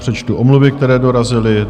Přečtu omluvy, které dorazily.